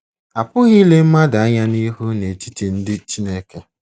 Apụghị ịle mmadụ anya n'ihu n'etiti ndị Chineke.